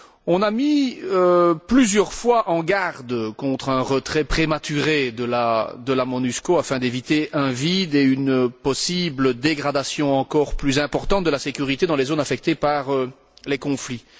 On a mis plusieurs fois en garde contre un retrait prématuré de la MONUSCO, afin d'éviter un vide et une éventuelle dégradation encore plus importante de la sécurité dans les zones affectées par les conflits.